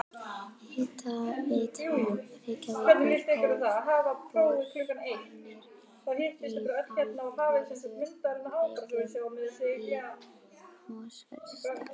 Hitaveita Reykjavíkur hóf boranir á Norður Reykjum í Mosfellsdal.